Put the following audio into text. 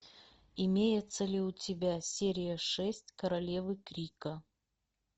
имеется ли у тебя серия шесть королевы крика